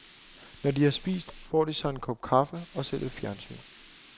Når de har spist, får de sig en kop kaffe og ser lidt fjernsyn.